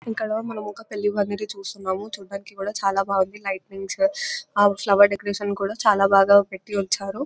ఇక్కడా మనం ఒక పెళ్లి పందిరి చూస్తున్నాము. చూడ్డానికి కూడా చాలా బాగుంది. లైటింగ్స్ ఆ ఫ్లవర్ డెకరేషన్ కూడా చాలా బాగా పెట్టి ఉంచారు.